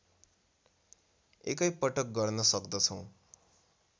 एकै पटक गर्न सक्दछौँ